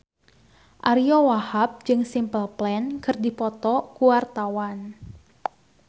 Ariyo Wahab jeung Simple Plan keur dipoto ku wartawan